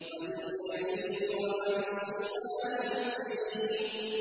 عَنِ الْيَمِينِ وَعَنِ الشِّمَالِ عِزِينَ